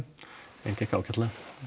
gekk ágætlega